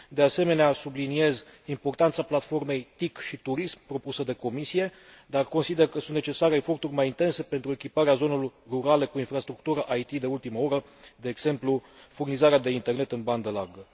De asemenea, subliniez importanța platformei TIC și turism propusă de Comisie, dar consider că sunt necesare eforturi mai intense pentru echiparea zonelor rurale cu infrastructură IT de ultimă oră, de exemplu furnizarea de internet în bandă largă.